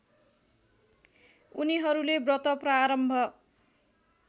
उनीहरूले व्रत प्रारम्भ